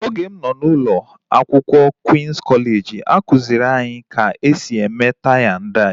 Oge m nọ n'ụlọ akwụkwọ Queen's kọleji a kụziri anyị ka e si eme tai na dai